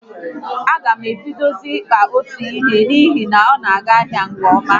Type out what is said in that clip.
A gam ebidozie kpaba ute n'ihi na ọ na aga ahịa nke ọma